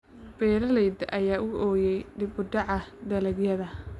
Beeralayda ayaa u ooyay dib u dhaca dalagyada